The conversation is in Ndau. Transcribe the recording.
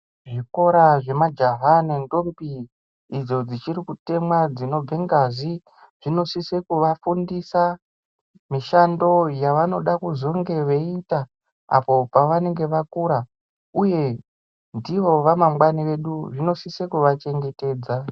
Zvikora zvemajaha nentombi idzo dzichiri kutemwa dzinobude ngazi dzinosise kuvafundisa mishando yavanoda kuzonge veiita apo pavanenge vakura uye ndivo vamangwani vedu zvinosise kuvachengetedza.